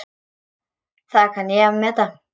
Það kann ég að meta.